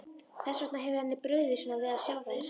Þess vegna hefur henni brugðið svona við að sjá þær.